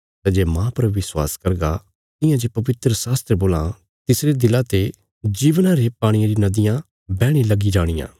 सै जे माह पर विश्वास करगा तियां जे पवित्रशास्त्र बोलां तिसरे दिला ते जीवना रे पाणिये री नदियां बैहणे लगी जाणियां